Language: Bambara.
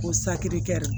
Ko saki kɛ